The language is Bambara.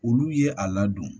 Olu ye a ladon